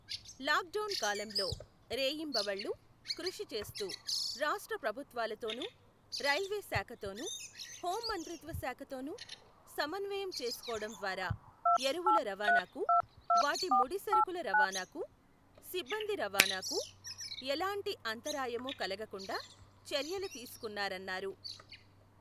Lock down కాలంలో రేయింబవళ్ళు కృషి చేస్తూ రాష్ట్ర ప్రభుత్వాలతోను, రైల్వే శాఖతోనూ, హోం మంత్రిత్వశాఖతోనూ సమన్వయం చేసుకోవటం ద్వారా ఎరువుల రవాణాకు, వాటి ముడి సరకుల రవాణాకూ, సిబ్బంది రవాణాకూ ఎలాంటి అంతరాయమూ కలగకుండా చర్యలు తీసుకున్నారన్నారు.